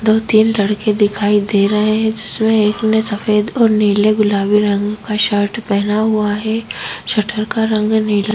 दो तीन लड़के दिखाई दे रहे हैं जिसमें एक ने सफेद और नीले गुलाबी रंग का शर्ट पहना हुआ है शटर का रंग नीला हैं।